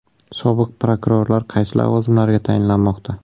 Sobiq prokurorlar qaysi lavozimlarga tayinlanmoqda?